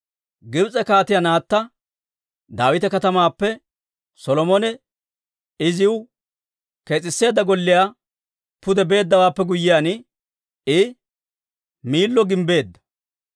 Gibs'e Kaatiyaa naatta Daawita Katamaappe Solomone iziw kees'isseedda golliyaa pude beeddawaappe guyyiyaan, I Miillo gimbbeedda.